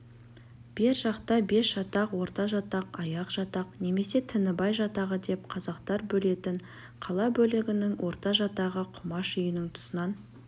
бер жақта басжатақ орта жатақ аяқ жатақ немесе тінібай жатағы деп қазақтар бөлетін қала бөлігінің орта жатағы құмаш үйінің тұсынан